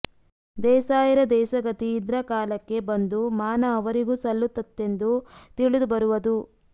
ದೇಸಾಯರ ದೇಸಗತಿ ಇದ್ರಕಾಲಕ್ಕೆ ಬಂದು ಮಾನ ಅವರಿಗೂ ಸಲ್ಲುತ್ತತ್ತೆಂದೂ ತಿಳಿದು ಬರುವದು